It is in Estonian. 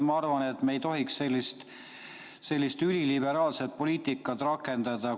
Ma arvan, et me ei tohiks sellist üliliberaalset poliitikat rakendada.